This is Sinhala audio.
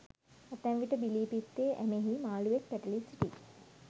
ඇතැම් විට බිලී පිත්තේ ඇමෙහි මාළුවෙක් පැටලී සිටියි.